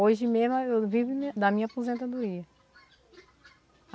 Hoje mesmo eu vivo da minha da minha aposentadoria.